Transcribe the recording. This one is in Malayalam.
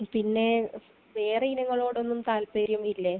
പിന്നെ വേറെ ഇനങ്ങളോടൊന്നും താല്പര്യം ഇല്ലേ?